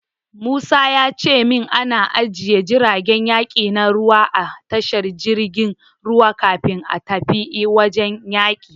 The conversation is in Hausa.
Musa ya ce min ana ajiye jiragen yaki na ruwa a tashar jirgin ruwa kafin a tafi wajen yaki.